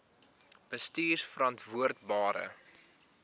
bestuurverantwoordbare